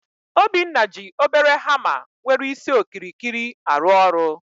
Obinna ji obere hama nwere isi okirikiri arụ ọrụ